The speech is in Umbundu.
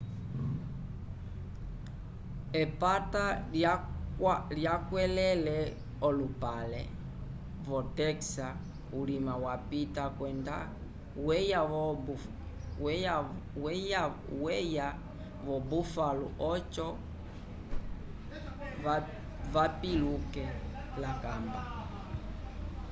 epata lyakwẽlele v'olupale wotexa ulima wapita kwenda weya vo-buffalo oco vapiluke l'akamba